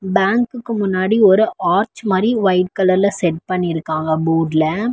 பேங்குக்கு முன்னாடி ஒரு ஆர்ச் மாரி வொய்ட் கலர்ல செட் பண்ணிருக்காங்க போர்டுல .